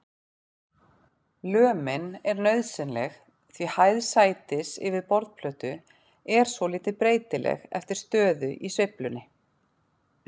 Lömin er nauðsynleg því hæð sætis yfir borðplötu er svolítið breytileg eftir stöðu í sveiflunni.